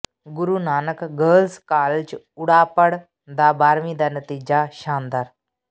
ਗੁਰੂ Nanak girls college Urapar ਦਾ ਬਾਰ੍ਹਵੀਂ ਦਾ ਨਤੀਜਾ ਸ਼ਾਨਦਾਰ